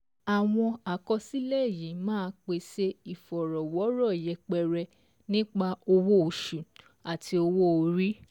Àwọn àkọsílẹ̀ yìí ma pèsè ìfọ̀rọ̀wọ́rọ̀ yẹpẹrẹ nípa owó oṣù àti owó orí